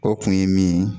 O kun ye min ye